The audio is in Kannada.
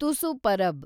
ತುಸು ಪರಬ್